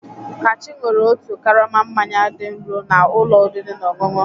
Kachi ṅụru otu karama mmanya dị nro na ụlọ oriri na ọṅụṅụ.